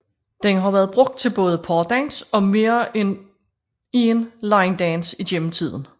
Den har været brugt til både pardans og mere end én line dance gennem tiden